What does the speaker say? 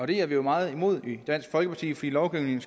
det er vi meget imod i dansk folkeparti fordi lovgivningen